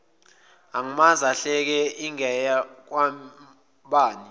angamazi ahleke ingeyakwabani